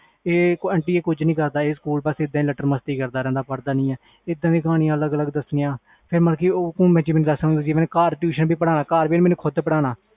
anuti ਇਹ ਕੁਛ ਨਹੀਂ ਕਰਦਾ ਲੈਟਰ ਮਸਤੀ ਕਰਦਾ ਰਹਿੰਦਾ ਆ ਪੜ੍ਹਦਾ ਨਹੀਂ ਇਹਦਾ ਦੀਆ ਕਹਾਣੀਆਂ ਦੱਸਣੀਆਂ ਫਿਰ ਘਰ ਆ ਕੇ ਵੀ ਖੁਦ tuition ਪੜ੍ਹਨ ਲੱਗ ਗਈ